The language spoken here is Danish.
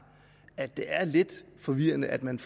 at det er lidt forvirrende at man